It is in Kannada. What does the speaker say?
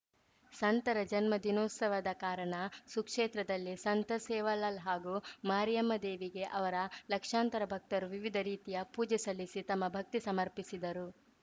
ಸಂತರ ಜನ್ಮ ದಿನೋತ್ಸವದ ಕಾರಣ ಸುಕ್ಷೇತ್ರದಲ್ಲಿ ಸಂತ ಸೇವಾಲಾಲ್‌ ಹಾಗೂ ಮಾರಿಯಮ್ಮದೇವಿಗೆ ಅವರ ಲಕ್ಷಾಂತರ ಭಕ್ತರು ವಿವಿಧ ರೀತಿಯ ಪೂಜೆ ಸಲ್ಲಿಸಿ ತಮ್ಮ ಭಕ್ತಿ ಸಮರ್ಪಿಸಿದರು